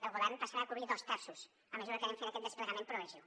el govern passarà a cobrir ne dos terços a mesura que anem fent aquest desplegament progressiu